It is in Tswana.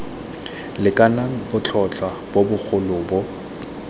lekanang botlhotlhwa bo bogolo bo